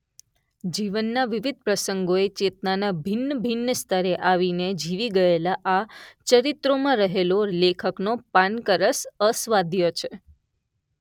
જીવનના વિવિધ પ્રસંગોએ ચેતનાના ભિન્નભિન્ન સ્તરે આવીને જીવી ગયેલાં આ ચરિત્રોમાં રહેલો લેખકનો પાનકરસ અસ્વાધ્ય છે.